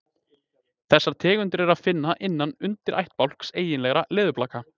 Þessar tegundir er að finna innan undirættbálks eiginlegra leðurblaka.